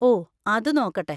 ഓ, അത് നോക്കട്ടെ!